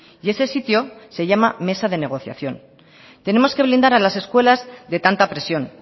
y ese sitio se llama mesa de negociación tenemos que blindar a las escuelas de tanta presión